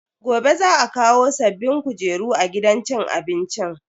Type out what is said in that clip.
Gobe za a kawo sabbin kujeru a gidan cin abincin.